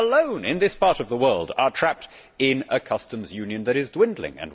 So we alone, in this part of the world, are trapped in a customs union that is dwindling.